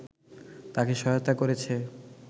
তাকে সহায়তা করেছে